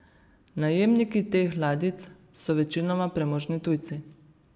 Najemniki teh ladjic so večinoma premožni tujci.